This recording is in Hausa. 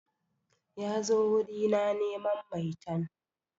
Ya zo wuri na neman maitan.